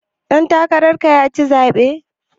Ɗan takarar ka ya ci zaɓen.